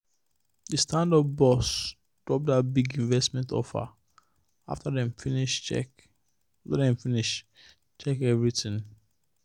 the startup boss drop that big investment offer after dem finish check everything.